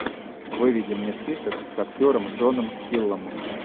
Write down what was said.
выведи мне список с актером джоном хиллом